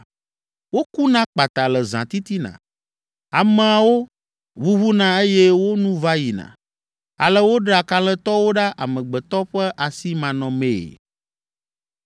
Wokuna kpata le zãtitina, ameawo ʋuʋuna eye wo nu va yina ale woɖea kalẽtɔwo ɖa amegbetɔ ƒe asi manɔmee.